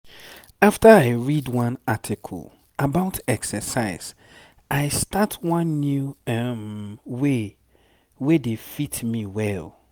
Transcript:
after i read one article about exercise i start one new um way wey dey fit me well.